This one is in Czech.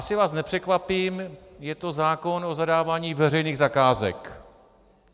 Asi vás nepřekvapím, je to zákon o zadávání veřejných zakázek.